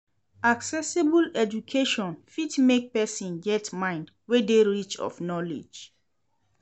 Accessible education fit make persin get mind wey de rich of knowlegdge